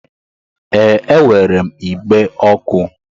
Ee, e nwere m igbe ọkụ